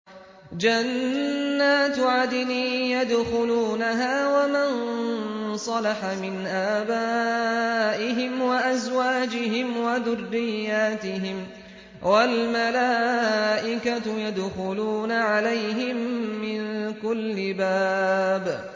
جَنَّاتُ عَدْنٍ يَدْخُلُونَهَا وَمَن صَلَحَ مِنْ آبَائِهِمْ وَأَزْوَاجِهِمْ وَذُرِّيَّاتِهِمْ ۖ وَالْمَلَائِكَةُ يَدْخُلُونَ عَلَيْهِم مِّن كُلِّ بَابٍ